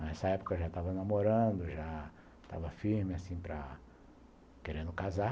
Nessa época, eu já tava namorando, já tava firme assim para... querendo casar.